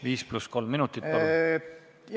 Viis pluss kolm minutit, palun!